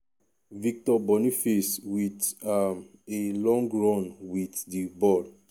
victor boniface wit um a long run wit di ball.